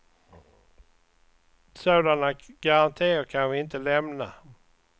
Sådana garantier kan vi inte lämna.